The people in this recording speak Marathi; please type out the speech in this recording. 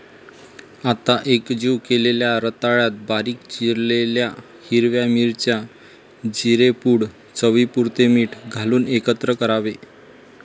आता एकजीव केलेल्या रताळ्यात बारीक चिरलेल्या हिरव्या मिरच्या, जिरेपुड, चवीपुरते मीठ घालून एकत्र करावे.